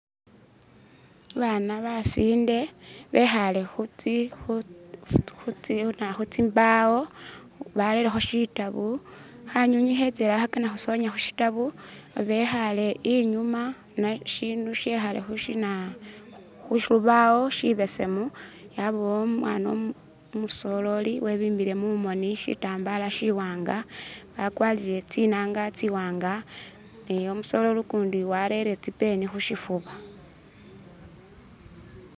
Babana basinde bikhale khutsi khutsimbawo barelekho shitabu khanyunyi khetsele khakana khusonya khushitabu babekhale inyuma shindu shikhale khushinaa khushibawo shibesemu yabawo umwana umusoleli webimbile mumoni shitambal shiwanga wa kwarile tsinanga tsiwanga umusoleli kundi warele tsi'pen khushifuba.